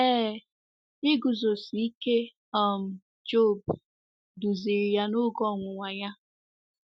Ee, iguzosi ike um Job duziri ya n’oge ọnwụnwa ya.